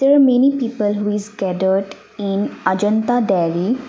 there many people who is scattered in Ajanta dairy.